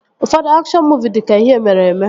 Ụfọdụ akshọn muuvi dị ka ihe mere eme